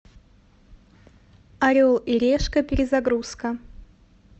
орел и решка перезагрузка